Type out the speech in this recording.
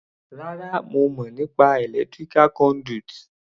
Rárá, mo mọ̀ nípa electrical conduit.